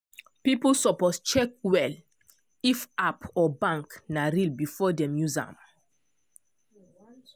people suppose check well if app or bank na real before dem use am.